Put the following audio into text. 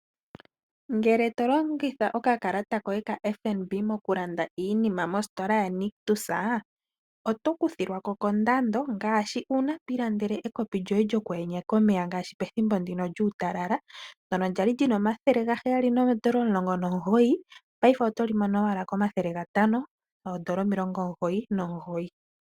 Ngele to longitha oka kalata koye ka FNB moku landa iinima mostola ya Nictus, oto kuthilwako kondando ngashi uuna twiilandele ekopi lyoye lyoku yenyeka omeya ngashi pethimbo ndika lyuutalala, ndyoka kwali lina N$719 paife oto li mono owala N$599.